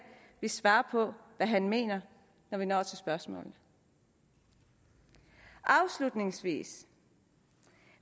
vil svare på hvad han mener når vi når til spørgsmålene afslutningsvis